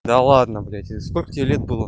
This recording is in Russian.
да ладно блять и сколько тебе лет было